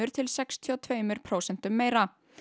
til sextíu og tveimur prósentum meira